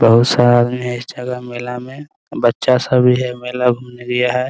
बहुत सा आदमी है इस जगह मेला में बच्चा सभी है मेला घूमने गया है ।